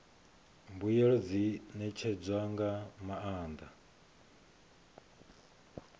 mbuelo dzi ṋetshedzwa nga maanḓa